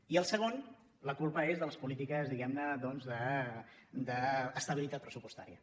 i el segon és de les polítiques diguem ne doncs d’estabilitat pressupostària